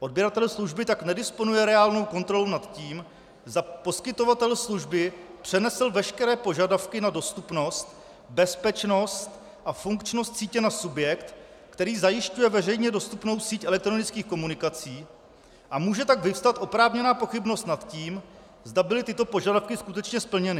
Odběratel služby tak nedisponuje reálnou kontrolou nad tím, zda poskytovatel služby přenesl veškeré požadavky na dostupnost, bezpečnost a funkčnost sítě na subjekt, který zajišťuje veřejně dostupnou síť elektronických komunikací, a může tak vyvstat oprávněná pochybnost nad tím, zda byly tyto požadavky skutečně splněny.